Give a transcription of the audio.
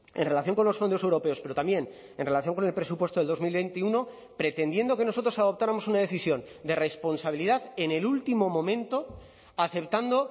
en relación con los fondos europeos pero también en relación con el presupuesto de dos mil veintiuno pretendiendo que nosotros adoptáramos una decisión de responsabilidad en el último momento aceptando